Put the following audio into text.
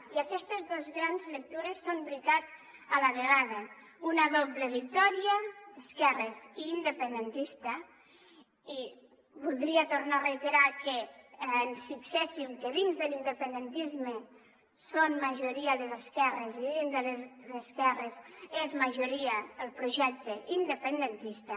i aquestes dos grans lectures són veritat a la vegada una doble victòria d’esquerres i independentista i voldria tornar a reiterar que ens fixéssim que dins de l’independentisme són majoria les esquerres i dins de les esquerres és majoria el projecte independentista